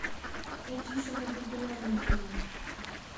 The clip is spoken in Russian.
найди самый популярный фильм